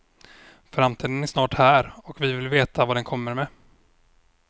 Framtiden är snart här och vi vill veta vad den kommer med.